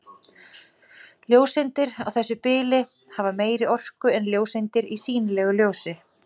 Ljóseindir á þessu bili hafa meiri orku en ljóseindir í sýnilegu ljósi.